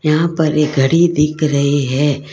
यहां पर एक घड़ी दिख रही है।